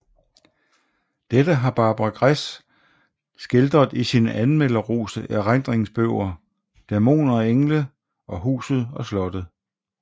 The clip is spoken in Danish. Dette har Barbara Gress skildret i sine anmelderroste erindringsbøger Dæmoner og engle og Huset og Slottet